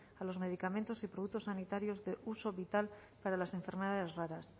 a los medicamentos y productos sanitarios de uso vital para las enfermedades raras